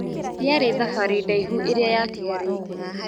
Ndĩarĩ thabarĩ ndaihu ĩrĩa yatigarĩte.